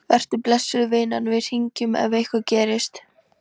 Vertu blessuð, vinan, við hringjum ef eitthvað gerist.